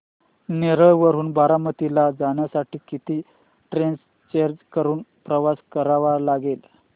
नेरळ वरून बारामती ला जाण्यासाठी किती ट्रेन्स चेंज करून प्रवास करावा लागेल